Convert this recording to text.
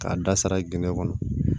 K'a da sara gende kɔnɔ